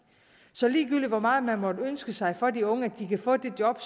så ligegyldigt hvor meget man måtte ønske sig for de unge at de kan få det job